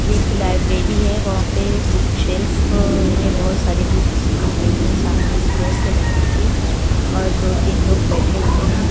ये एक लाइब्रेरी है वहा पे बुक शेल्फ में बहुत सारी बुक्स दिख रही हैं सामने स्टेअर्स है लड़की की और दो तिन लोग बेठे हुए हैं।